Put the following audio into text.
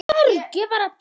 Hverju má fólk búast við?